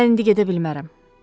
Mən indi gedə bilmərəm.